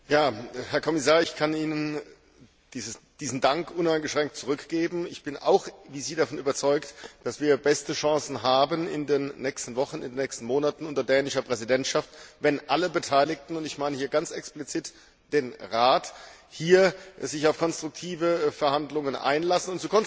Herr Präsident! Herr Kommissar, ich kann Ihnen diesen Dank uneingeschränkt zurückgeben. Ich bin auch wie Sie davon überzeugt, dass wir beste Chancen haben in den nächsten Wochen und Monaten unter dänischer Präsidentschaft, wenn alle Beteiligten, und ich meine hier ganz explizit den Rat, sich auf konstruktive Verhandlungen einlassen.